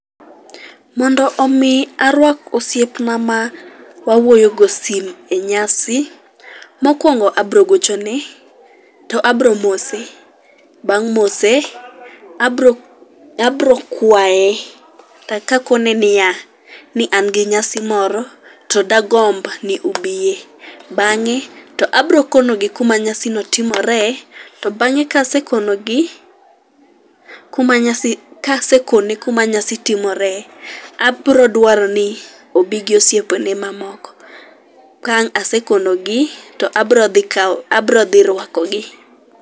Mondo omi arwak osiepna ma wawuoyogo sim e nyasi, mokwongo abrogochone, to abro mose. Bang' mose, abro abrokwaye, to kakone niya, ni an gi nyasi moro to dagomb ni ubiye. Bang'e to abrokonogi kuma nyasi no timore, to bang'e kasekonogi kuma nyasi, ka asekone kuma nyasi timore, abrodwaro ni obi gi osiepene mamoko. Ka ang' asekonogi, to abro dhi kawo, abro dhi rwakogi.